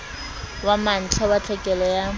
wa mantlha wa tlhekelo ya